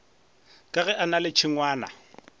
ka gere na le tšhengwana